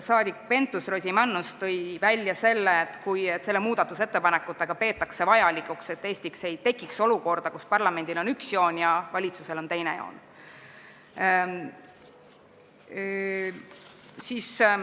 Saadik Pentus-Rosimannus tõi välja, et selle muudatusettepanekuga peetakse vajalikuks vältida Eestis olukorda, kus parlamendil on üks joon ja valitsusel on teine joon.